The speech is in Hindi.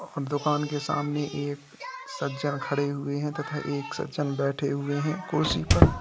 हम दुकान के सामन एक सज्जन खड़े हुए हैं तथा एक सज्जन बैठे हुए हैं कुर्सी पर।